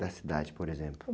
Da cidade, por exemplo.